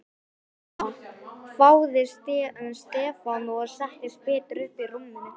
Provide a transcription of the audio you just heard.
Ha?! hváði Stefán og settist betur upp í rúminu.